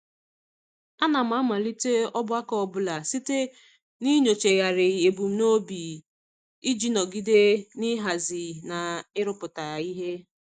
Ana m amalite ọgbakọ ọbụla site n'inyochagharị ebumnobi iji nọgide n'ịhazi na ịrụpụta ihe.